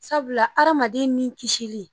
Sabula adamaden ni kisi.